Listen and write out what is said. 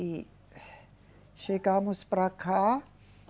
E chegamos para cá.